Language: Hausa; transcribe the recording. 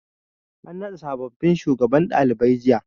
An naɗa sabobbin shugabannin ɗalibai jiya.